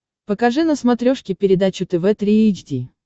покажи на смотрешке передачу тв три эйч ди